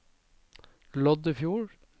Loddefjord